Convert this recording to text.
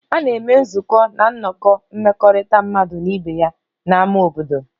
A na-eme nzukọ na nnọkọ mmekọrịta mmadụ na ibe ya na ámá obodo